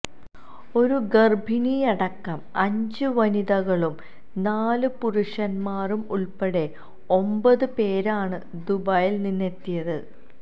ഒരു ഗര്ഭിണിയടക്കം അഞ്ച് വനിതകളും നാല് പുരുഷന്മാരും ഉള്പ്പെടെ ഒമ്പത് പേരാണ് ദുബായില് നിന്നെത്തിയത്